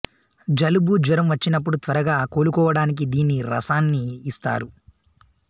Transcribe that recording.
జలుబు జ్వరం వచ్చినపుడు త్వరగా కోలుకోవడానికి దీన్ని రసాన్ని ఇస్తారు